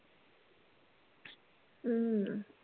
हम्म